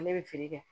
Ne bɛ feere kɛ